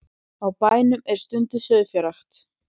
Á bænum er stunduð sauðfjárrækt